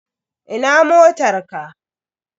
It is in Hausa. Ina motar ka?